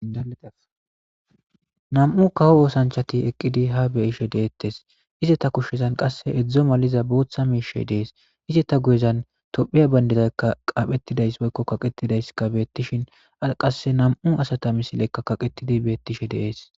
Alanam'u kaho oosanchati eqqidi ha beyishe deettes ize ta kushshezan qasse edzdzo maliza booththa miishe dees ize ta guyezan tophiya bayndedaykka qaaphetidays woykko kaqetidays kabeettishin qasse nam'u asata misileykka kaqetidi beettishe deees.